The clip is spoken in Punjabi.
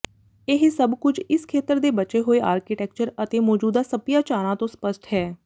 ਇਹ ਸਭ ਕੁਝ ਇਸ ਖੇਤਰ ਦੇ ਬਚੇ ਹੋਏ ਆਰਕੀਟੈਕਚਰ ਅਤੇ ਮੌਜੂਦਾ ਸੱਭਿਆਚਾਰਾਂ ਤੋਂ ਸਪੱਸ਼ਟ ਹੈ